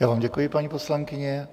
Já vám děkuji, paní poslankyně.